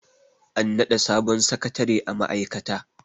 an naɗa sabon sakatare a ma'aikata